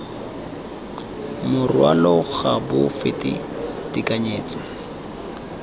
morwalo ga bo fete tekanyetso